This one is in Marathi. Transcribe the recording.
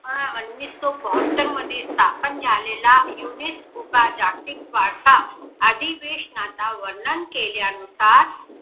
अं उन्निसो बहात्तर मध्ये स्थापन झालेला युनेस्को चा जागतिक वारसा अधिवेशनाता वर्णन केल्यानुसार